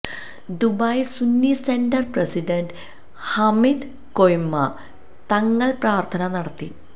Dubai Sunni centre president Hamid Koyamma Thangal പ്രാര്ത്ഥന നടത്തി